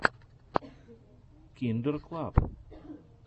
киндер клаб